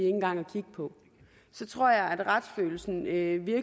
engang at kigge på så tror jeg at retsfølelsen virkelig